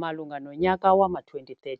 Malunga nonyaka wama-2013,